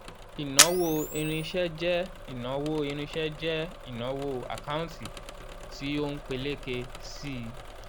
ìnáwó irinṣẹ́ jẹ́ ìnáwó irinṣẹ́ jẹ́ ìnáwó àkántì tí ó ń peléke sí i